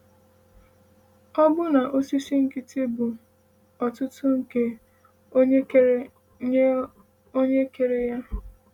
“Ọbụna osisi nkịtị bụ otuto nye Onye kere nye Onye kere ya.”